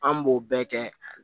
An b'o bɛɛ kɛ